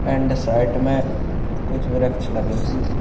And site में कुछ वृक्ष लगे हुए हैं।